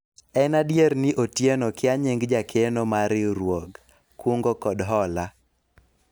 en adier ni Otieno kia nying jakeno mar riwruog kungo kod hola